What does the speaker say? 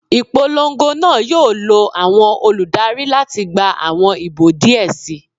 Ipolongo naa yoo lo awọn oludari lati gba awọn ibo diẹ sii